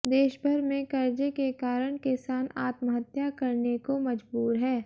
देशभर में कर्जे के कारण किसान आत्महत्या करने को मजबूर है